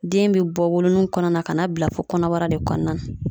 Den be bɔ wolo nugu kɔnɔ na ka na bila fɔ kɔnɔbara de kɔnɔna na